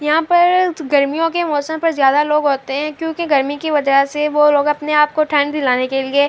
یہاں پر گرمیو کے موسم پر جیادہ لوگ ہوتے ہے کیوکی گرمی کی واضح سے وو لوگ اپنے آپ کو ٹھنڈ دلانے کے لئے--